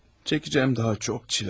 Çəkəcəyim daha çox çilə var.